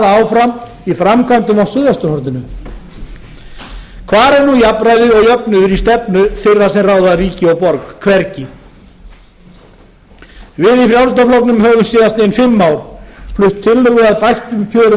áfram í framkvæmdum á suðvesturhorninu hvar er nú jafnræðið og jöfnuður í stefnu þeirra sem ráða ríki og borg hvergi við í frjálsl höfum síðastliðin fimm ár flutt tillögu að bættum kjörum